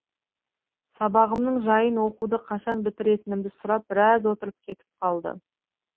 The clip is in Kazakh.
сабағымның жайын оқуды қашан бітіретінімді сұрап біраз отырып кетіп қалды